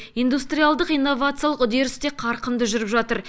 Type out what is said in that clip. индустриалдық инновациялық үдеріс те қарқынды жүріп жатыр